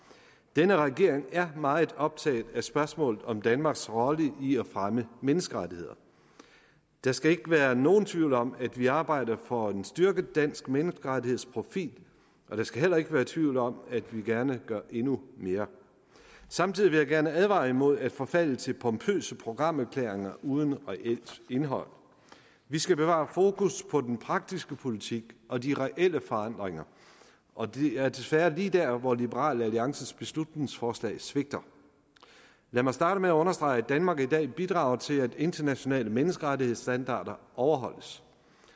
denne regering er meget optaget af spørgsmålet om danmarks rolle i at fremme menneskerettigheder der skal ikke være nogen tvivl om at vi arbejder for en styrket dansk menneskerettighedsprofil og der skal heller ikke være tvivl om at vi gerne gør endnu mere samtidig vil jeg gerne advare imod at forfalde til pompøse programerklæringer uden reelt indhold vi skal bevare fokus på den praktiske politik og de reelle forandringer og det er desværre lige der hvor liberal alliances beslutningsforslag svigter lad mig starte med at understrege at danmark i dag bidrager til at internationale menneskerettighedsstandarder overholdes